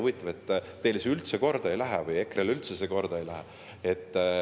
Huvitav, et teile või EKRE‑le see üldse korda ei lähe.